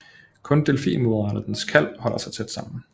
Kun delfinmoderen og dens kalv holder sig tæt sammen